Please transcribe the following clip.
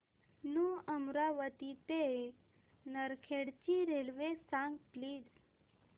new Amravati ते नरखेड ची railway सांग प्लीज